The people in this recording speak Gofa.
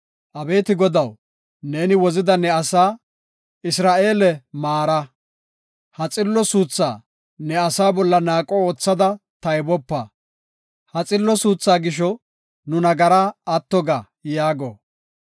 Abeeti Godaw, neeni wozida ne asaa, Isra7eele maara; ha xillo suuthaa ne asaa bolla naaqo oothada taybopa. Ha xillo suuthaa gisho nu nagaray atto ga” yaago.